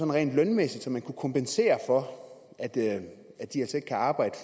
rent lønmæssigt så man kunne kompensere for at kan arbejde